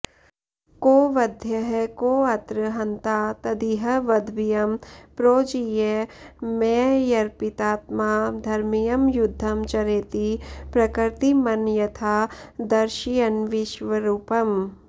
को वध्यः कोऽत्र हन्ता तदिह वधभियं प्रोज्झ्य मय्यर्पितात्मा धर्म्यं युद्धं चरेति प्रकृतिमनयथा दर्शयन्विश्वरूपम्